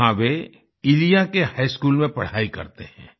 वहां वे इलिया के हाई स्कूल में पढ़ाई करते हैं